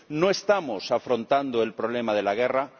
No estamos afrontando el problema de la guerra.